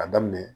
A daminɛ